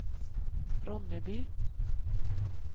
Ronneby